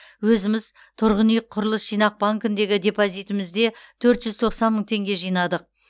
өзіміз тұрғын үй құрылыс жинақ банкіндегі депозитімізде төрт жүз тоқсан мың теңге жинадық